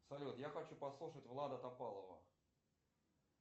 салют я хочу послушать влада топалова